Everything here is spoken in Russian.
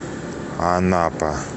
анапа